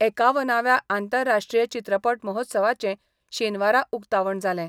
एकावनाव्या आंतरराष्ट्रीय चित्रपट महोत्सवाचे शेनवारा उक्तावण जालें.